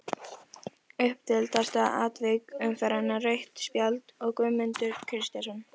Umdeildasta atvik umferðarinnar: Rautt spjald á Guðmund Kristjánsson?